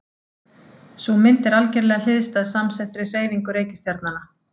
Sú mynd er algerlega hliðstæð samsettri hreyfingu reikistjarnanna.